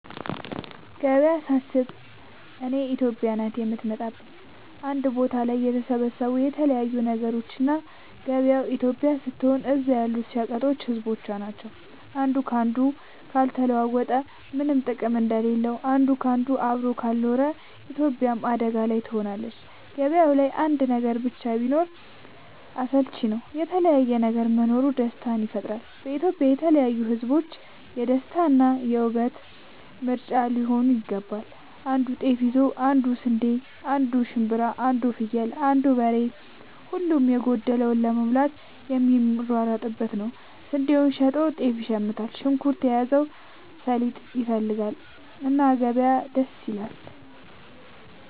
ገበያ ሳስብ እኔ ኢትዮጵያ ናት የምትመጣለኝ አንድ ቦታ ላይ የተሰባሰቡ የተለያዩ ነገሮች እና ገበያው ኢትዮጵያ ስትሆን እዛ ያሉት ሸቀጦች ህዝቦቿ ናቸው። አንዱ ካንዱ ካልተለዋወጠ ምነም ጥቅም እንደሌለው አንድ ካንዱ አብሮ ካልኖረ ኢትዮጵያም አደጋ ላይ ትሆናለች። ገባያው ላይ አንድ ነገር ብቻ ቢሆን አስልቺ ነው የተለያየ ነገር መኖሩ ደስታን ይፈጥራል። ኢትዮጵያም የተለያዩ ህዝቦቿ የደስታ እና የ ውበት ምንጯ ሊሆን ይገባል። አንዱ ጤፍ ይዞ አንዱ ስንዴ አንዱ ሽንኩርት አንዱ ፍየል አንዱ በሬ ሁሉም የጎደለውን ለመሙላት የሚሯሯጡበት ነው። ስንዴውን ሸጦ ጤፍ ይሽምታል። ሽንኩርት የያዘው ሰሊጥ ይፈልጋል። እና ገበያ ደስ ይላል።